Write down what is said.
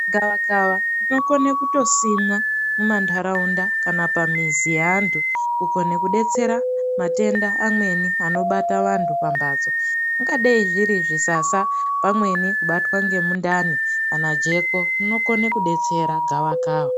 Gavakava rinokone kutosimwa mumantaraunda kana pamizi yeantu. Kukone kudetsera matenda amweni anobata vantu pambatso. Ingadei zviri zvisasa, pamweni kubatwa nemundani, kana jeko rinokone kubatsira gavakava.